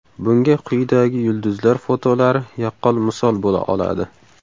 Bunga quyidagi yulduzlar fotolari yaqqol misol bo‘la oladi.